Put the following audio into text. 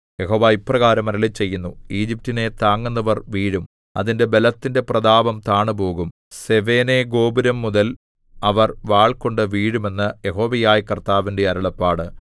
യഹോവ ഇപ്രകാരം അരുളിച്ചെയ്യുന്നു ഈജിപ്റ്റിനെ താങ്ങുന്നവർ വീഴും അതിന്റെ ബലത്തിന്റെ പ്രതാപം താണുപോകും സെവേനേഗോപുരംമുതൽ അവർ വാൾകൊണ്ടു വീഴും എന്ന് യഹോവയായ കർത്താവിന്റെ അരുളപ്പാട്